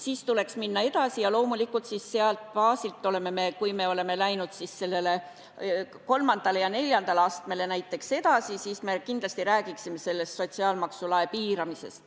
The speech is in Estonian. Sealt tuleks minna edasi ja loomulikult sellelt baasilt, kui me oleme läinud näiteks edasi kolmandale ja neljandale astmele, me räägiksime kindlasti sotsiaalmaksu lae piiramisest.